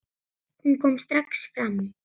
Hún kom strax fram.